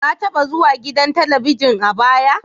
Ka taba zuwa gidan Talabijin a baya?